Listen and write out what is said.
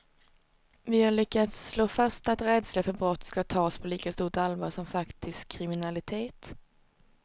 Vi har lyckats slå fast att rädsla för brott ska tas på lika stort allvar som faktisk kriminalitet.